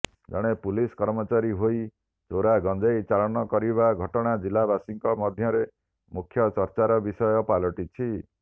ଜଣେ ପୁଲିସ କର୍ମଚାରୀ ହୋଇ ଚୋରା ଗଜେଂଇ ଚାଲାଣ କରିବା ଘଟଣା ଜିଲ୍ଲାବାସୀଙ୍କ ମଧ୍ୟରେ ମୁଖ୍ୟଚର୍ଚାର ବିଷୟ ପାଲଟିଛି